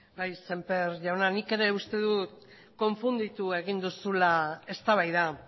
bai sémper jauna nik ere uste dut konfunditu egin duzula eztabaida